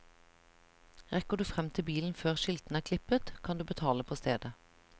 Rekker du frem til bilen før skiltene er klippet, kan du betale på stedet.